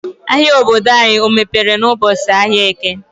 Ahia obodo anyị ọ mepere n'ụbọchị ahịa Eke.